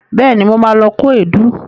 Bẹẹ̀ni, mo ma lọ kó èédú